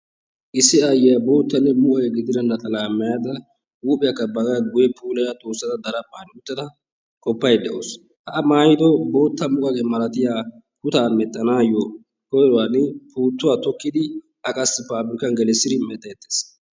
Issi aayyiya bootta muqaqiya gidida naxalaa maayada huuphiya baagaa guye puulaya doossada daraphphan uttada qoppaydda de'awusu. Ha A maayido bootta muqaqe malatiya kutaa medhdhanaayyo koyruwan puuttuwa tokkidi A qassi paapirkkan gelissidi medhdheettees.